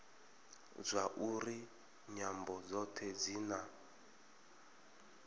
zwauri nyambo dzothe dzi na